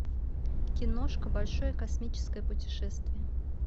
киношка большое космическое путешествие